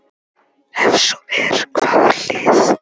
Ef svo er, hvaða lið?